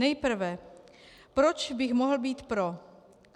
Nejprve proč bych mohl být pro.